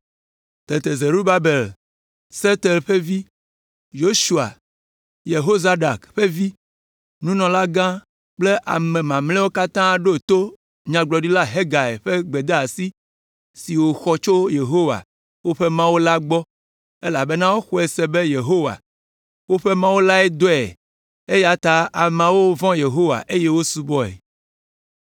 Tete Zerubabel, Sealtiel ƒe vi, Yosua, Yehozadak ƒe vi, nunɔlagã kple ame mamlɛawo katã ɖo to Nyagblɔɖila Hagai ƒe gbedeasi si wòxɔ tso Yehowa, woƒe Mawu la gbɔ elabena woxɔe se be Yehowa, woƒe Mawu lae dɔe eya ta ameawo vɔ̃ Yehowa eye wosubɔe.